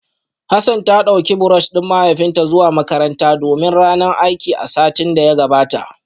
Hassan ta dauki brush din mahaifinta zuwa makaranta domin ranar aiki a satin da ya gabata